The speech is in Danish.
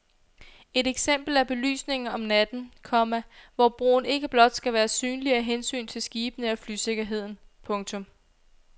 Et eksempel er belysningen om natten, komma hvor broen ikke blot skal være synlig af hensyn til skibene og flysikkerheden. punktum